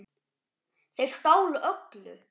Þeir stálu öllu.